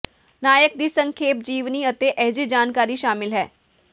ਨਾਇਕ ਦੀ ਸੰਖੇਪ ਜੀਵਨੀ ਅਤੇ ਅਜਿਹੇ ਜਾਣਕਾਰੀ ਸ਼ਾਮਿਲ ਹੈ